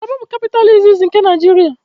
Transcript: Kalaba bụ kapịta iziz nke Naịjiria